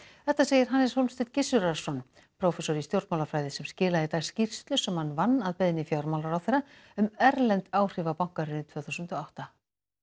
þetta segir Hannes Hólmsteinn Gissurarson prófessor í stjórnmálafræði sem skilaði í dag skýrslu sem hann vann að beiðni fjármálaráðherra um erlend áhrif á bankahrunið tvö þúsund og átta